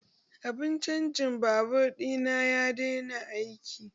Abun canjin batur ɗina ya daina aiki